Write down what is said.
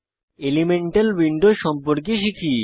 elemental window সম্পর্কে শিখি